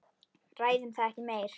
Ræðum það ekki meir.